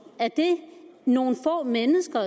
er det nogle få mennesker